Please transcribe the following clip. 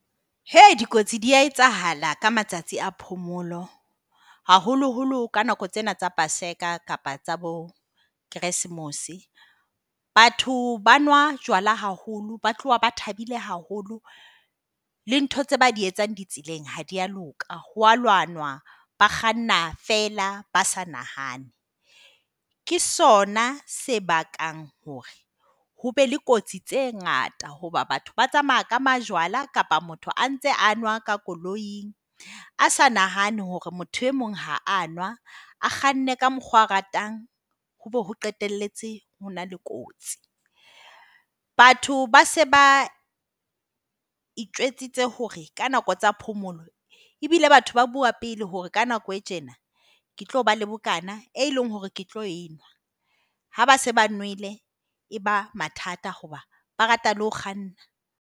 He! Dikotsi di a etsahala ka matsatsi a phomolo. Haholoholo ka nako tsena tsa Paseka kapa tsa bo-Christmas. Batho ba nwa jwala haholo. Ba tloha ba thabile haholo le ntho tseo ba di etsang ditseleng ha di a loka. Ho a lwanwa. Ba kganna fela ba sa nahane. Ke sona se bakang hore hobe le kotsi tse ngata hoba batho ba tsamaya ka majwala kapa motho a ntse a nwa ka koloing, a sa nahane hore motho e mong ha a nwa. A kganne ka mokgwa oo a o ratang, hoo o qetelletse ho na le kotsi. Batho ba se ba itjwetsitse hore ka nako tsa phomolo, ebile batho ba bua pele hore ka nako e tjena ke tlo ba le bokaana e leng hore ke tlo e nwa. Ha ba se ba nwele e ba mathata hoba ba rata le ho kganna.